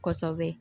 Kosɛbɛ